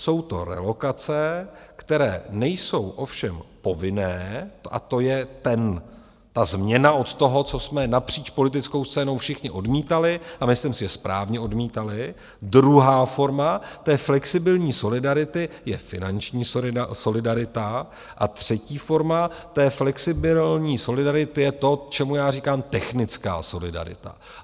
Jsou to relokace, které nejsou ovšem povinné, a to je ta změna od toho, co jsme napříč politickou scénou všichni odmítali, a myslím si, že správně odmítali, druhá forma té flexibilní solidarity je finanční solidarita a třetí forma té flexibilní solidarity je to, čemu já říkám technická solidarita.